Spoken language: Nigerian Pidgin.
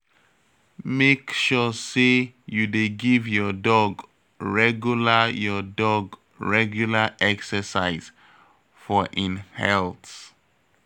Make sure say you dey give your dog regular your dog regular exercise for en health.